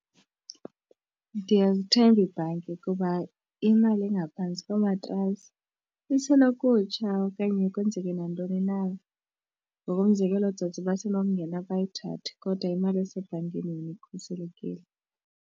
Ndiyazithemba iibhanki kuba imali engaphantsi komatrasi isenokutsha okanye kwenzeke nantoni na ngokomzekelo ootsotsi basenongena bayithathe kodwa imali esebhankini ikhuselekile.